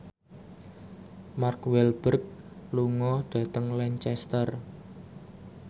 Mark Walberg lunga dhateng Lancaster